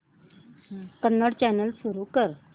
Kannada channel सुरू कर